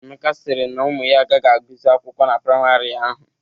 Emeka sịrị na ụmụ ya agaghị agụzi akwụkwọ na priamarị ahụ.